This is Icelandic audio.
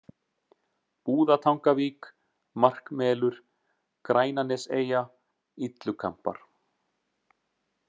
Búðatangavík, Markmelur, Grænaneseyja, Illukambar